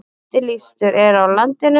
Eftirlýstur er á landinu